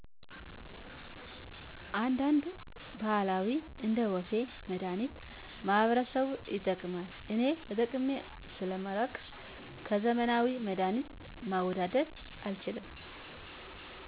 አንዳንድ ባህላዊ እንደወፌ መድሐኒት ማህበረሰቡ ይጠቀማል እኔ ተጠቅሜ ሰለማላቅ ከዘመናዊ መድሀኒት ማወዳደር አልችልም